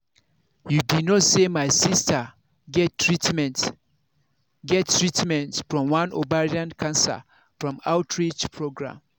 you be no say my sister get treatment sister get treatment from one ovarian cancer from outreach program